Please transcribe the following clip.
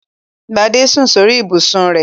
Gbadé sùn sórí ibùsùn rẹ̀.